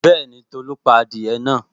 Bẹ́ẹ̀ni, Tolu pa adìẹ náà